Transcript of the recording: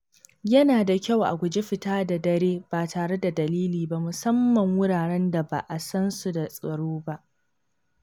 Yana da kyau a guji fita da dare ba tare da dalili ba, musamman a wuraren da ba a san su da tsaro ba.